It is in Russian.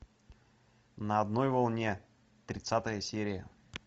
на одной волне тридцатая серия